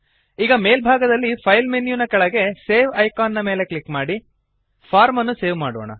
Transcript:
ಈಗ ಮೇಲ್ಭಾಗದಲ್ಲಿ file menu ನ ಕೆಳಗೆ ಸೇವ್ ಐಕಾನ್ ಮೇಲೆ ಕ್ಲಿಕ್ ಮಾಡಿ ಫಾರ್ಮ್ ಅನ್ನು ಸೇವ್ ಮಾಡೋಣ